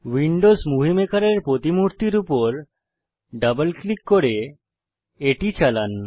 Windows Movie Maker এর প্রতিমূর্তির উপর ডাবল ক্লিক করে এটি চালান